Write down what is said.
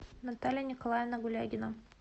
наталья николаевна гулягина